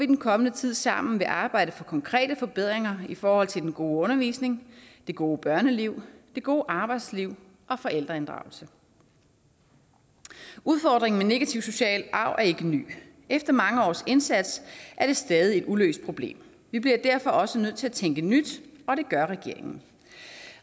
den kommende tid sammen vil arbejde for konkrete forbedringer i forhold til den gode undervisning det gode børneliv det gode arbejdsliv og forældreinddragelse udfordringen med negativ social arv er ikke ny efter mange års indsats er det stadig et uløst problem vi bliver derfor også nødt til at tænke nyt og det gør regeringen